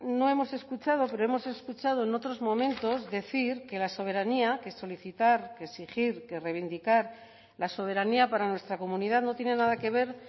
no hemos escuchado pero hemos escuchado en otros momentos decir que la soberanía que solicitar que exigir que reivindicar la soberanía para nuestra comunidad no tiene nada que ver